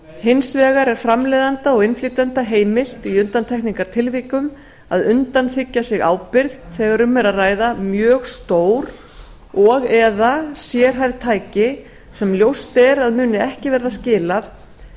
hins vegar er framleiðanda og innflytjenda heimilt í undantekningartilvikum að undanþiggja sig ábyrgð þegar um er að ræða mjög stór og eða sérhæfð tæki sem ljóst er að muni